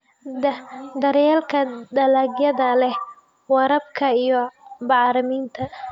Daryeelka dalagyada leh waraabka iyo bacriminta.